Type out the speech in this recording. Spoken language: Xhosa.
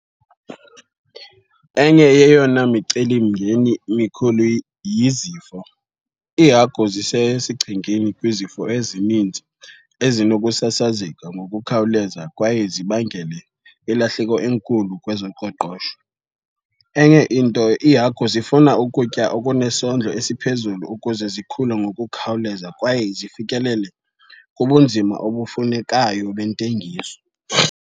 Enye yeyona micelimingeni mikhulu yizifo. Iihagu zisesichengeni kwizifo ezininzi ezinokusasazeka ngokukhawuleza kwaye zibangele ilahleko enkulu kwezoqoqosho. Enye into iihagu zifuna ukutya okunesondlo esiphezulu ukuze zikhule ngokukhawuleza kwaye zifikelele kubunzima obufunekayo bentengiso.